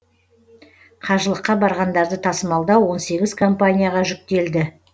қажылыққа барғандарды тасымалдау он сегіз компанияға жүктелді